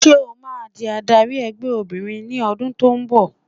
Ṣẹ́ o máa di adarí ẹgbẹ́ obìnrin ní ọdún tó ń bọ̀.